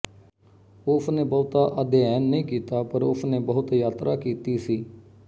ਉਸਨੇ ਬਹੁਤਾ ਅਧਿਐਨ ਨਹੀਂ ਕੀਤਾ ਪਰ ਉਸਨੇ ਬਹੁਤ ਯਾਤਰਾ ਕੀਤੀ ਸੀ